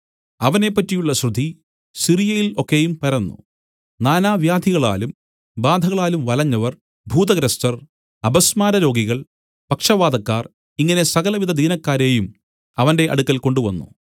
അവനെ പറ്റിയുള്ള ശ്രുതി സിറിയയിൽ ഒക്കെയും പരന്നു നാനാവ്യാധികളാലും ബാധകളാലും വലഞ്ഞവർ ഭൂതഗ്രസ്തർ അപസ്മാരരോഗികൾ പക്ഷവാതക്കാർ ഇങ്ങനെ സകലവിധ ദീനക്കാരെയും അവന്റെ അടുക്കൽ കൊണ്ടുവന്നു